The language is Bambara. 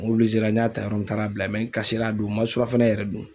N n y'a ta yɔrɔ n taara bila n kasila a don , n ma surafana yɛrɛ dun !